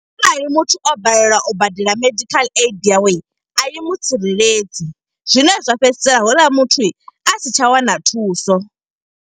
Arali muthu o balelwa u badela medical aid yaw, e a i mutsireledzi. Zwine zwa fhedzisela houḽa muthu a si tsha wana thuso.